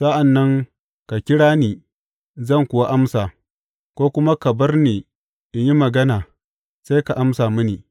Sa’an nan ka kira ni, zan kuwa amsa, ko kuma ka bar ni in yi magana sai ka amsa mini.